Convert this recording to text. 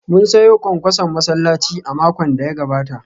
Mun sayo kwankwason masallaci a makon da ya gabata